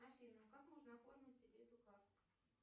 афина как можно оформить себе эту карту